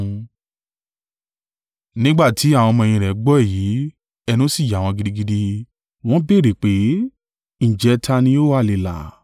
Nígbà tí àwọn ọmọ-ẹ̀yìn gbọ́ èyí, ẹnu sì yà wọn gidigidi, wọ́n béèrè pé, “Ǹjẹ́ ta ni ó ha le là?”